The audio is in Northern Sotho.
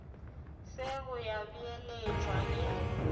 se go ya beeletšwa e